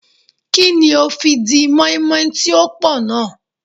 Kí ni o fi di mọ́ínmọ́ín tí ó pò náà.